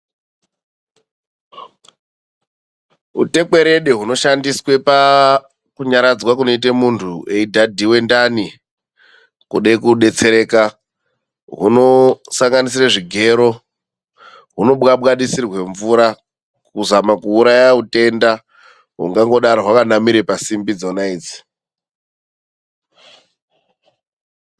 Utekwerede hunoshandiswa pakunyaradzwa kunoitwe muntu eidhadhiwa ndani kude kudetsereka hunosanganisira zvigero, hunobwabwadisirwa mvura kuzama kuuraya utenda hungangodaro hwakanamira pasimbi dzona idzi.